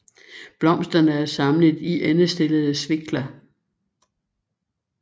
Blomsterne er samlet i endestillede svikler